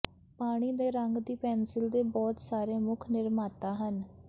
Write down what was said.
ਪਾਣੀ ਦੇ ਰੰਗ ਦੀ ਪੈਂਸਿਲ ਦੇ ਬਹੁਤ ਸਾਰੇ ਮੁੱਖ ਨਿਰਮਾਤਾ ਹਨ